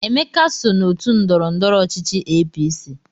Emeka so n'otu ndọrọndọrọ ọchịchị APC.